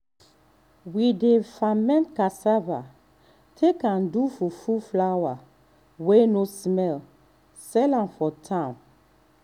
we dey ferment cassava take do fufu flour wey no smell sell am for town.